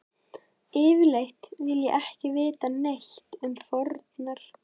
Yfirleitt vil ég ekki vita neitt um fórnar